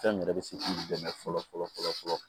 Fɛn min yɛrɛ be se k'i dɛmɛ fɔlɔ